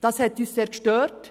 Das hat uns sehr gestört.